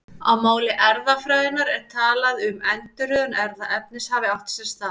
Á máli erfðafræðinnar er talað um að endurröðun erfðaefnis hafi átt sér stað.